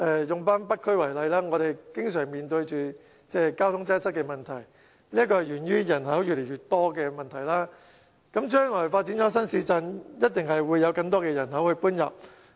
以北區為例，我們經常面對交通擠塞問題，這是源於人口越來越多，將來發展新市鎮一定有更多人口遷入。